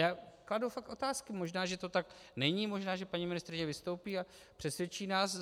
Já kladu fakt otázky, možná že to tak není, možná že paní ministryně vystoupí a přesvědčí nás.